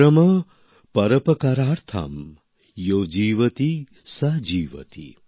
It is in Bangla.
পরম পরোপকার্থম য়ো জীবতি স জীবতি